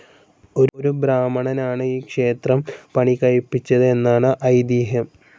ഒരു ബ്രാഹ്മണനാണ് ഈ ക്ഷേത്രം പണികഴിപ്പിച്ചത് എന്നാണ് ഐതിഹ്യം.